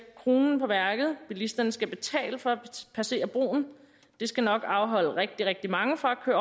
kronen på værket at bilisterne skal betale for at passere broen det skal nok afholde rigtig rigtig mange fra at